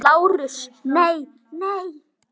LÁRUS: Nei, nei!